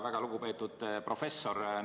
Väga lugupeetud professor!